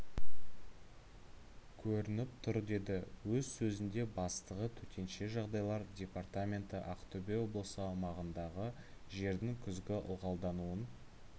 көрініп тұр деді өз сөзінде бастығы төтенше жағдайлар департаменті ақтөбе облысы аумағындағы жердің күзгі ылғалдануын